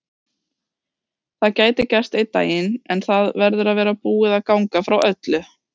Það gæti gerst einn daginn en það verður að vera búið að ganga frá öllu.